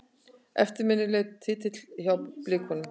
Eftirminnilegur titill hjá Blikunum.